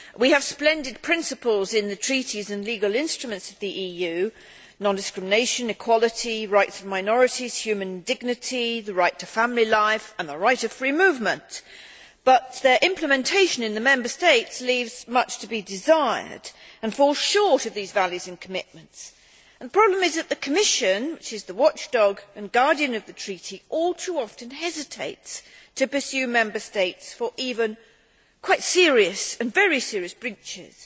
We have splendid principles in the treaties and legal instruments of the EU non discrimination, equality, rights of minorities, human dignity, the right to family life and the right of free movement but their implementation in the Member States leaves much to be desired and falls short of these values and commitments. The problem is that the Commission, which is the watchdog and guardian of the treaties, all too often hesitates to pursue Member States for even quite serious and very serious breaches.